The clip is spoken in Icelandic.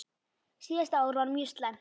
Síðasta ár var mjög slæmt.